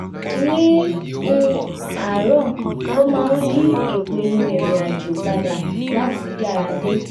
ní um àárọ̀ ló máa ń yí ìpinnu irinàjò padà láti yára dé